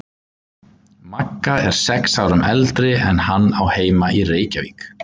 Magga er sex árum eldri en hann og á heima í Reykjavík.